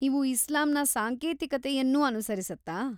ಇವು ಇಸ್ಲಾಂನ ಸಾಂಕೇತಿಕತೆಯನ್ನೂ ಅನುಸರಿಸುತ್ತಾ?